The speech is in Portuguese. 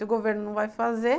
Se o governo não vai fazer,